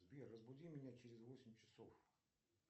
сбер разбуди меня через восемь часов